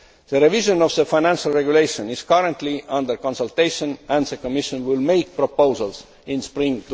The revision of the Financial Regulation is currently under consultation, and the Commission will make proposals in